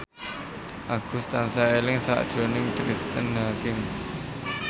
Agus tansah eling sakjroning Cristine Hakim